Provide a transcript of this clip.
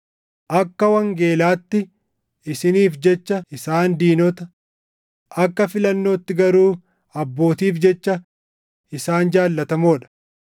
Akka wangeelaatti isiniif jecha isaan diinota; akka filannootti garuu abbootiif jecha isaan jaallatamoo dha;